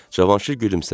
Cavanşir gülümsədi.